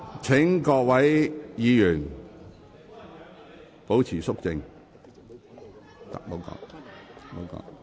請各位議員保持肅靜。